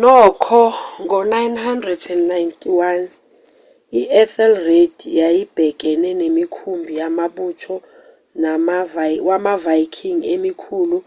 nokho ngo-991 i-ethelred yayibhekene nemikhumbi yamabutho wamaviking emikhulu